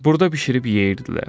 Burda bişirib yeyirdilər.